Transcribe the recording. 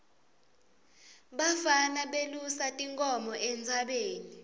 bafana belusa tinkhomo entsabeni